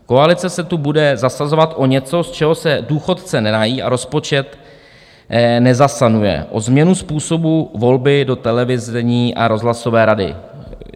Koalice se tu bude zasazovat o něco, z čeho se důchodce nenají a rozpočet nezasanuje: o změnu způsobu volby do televizní a rozhlasové rady.